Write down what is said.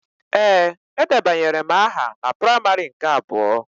Ee, edebanyere m aha ya na praimarị nke abụọ